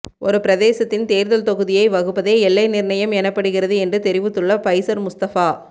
ஒரு பிரதேசத்தின் தேர்தல் தொகுதியை வகுப்பதே எல்லை நிர்ணயம் எனப்படுகிறது என்று தெரிவித்துள்ள பைஸர் முஸ்தபா